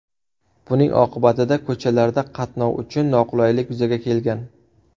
Buning oqibatida ko‘chalarda qatnov uchun noqulaylik yuzaga kelgan.